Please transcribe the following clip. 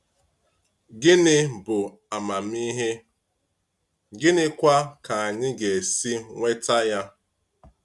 Gịnị bụ amamihe, gịnịkwa ka anyị ga-esi nweta ya?